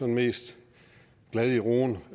mest glad i roen